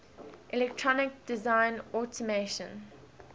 electronic design automation